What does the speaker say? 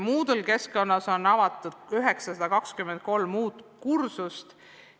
Moodle’i keskkonnas on avatud 923 uut kursust.